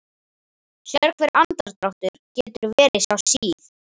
Sérhver andardráttur getur verið sá síð